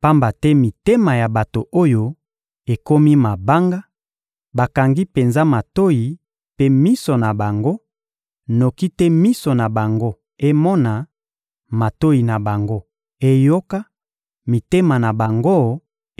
Pamba te mitema ya bato oyo ekomi mabanga; bakangi penza matoyi mpe miso na bango, noki te miso na bango emona, matoyi na bango eyoka, mitema na bango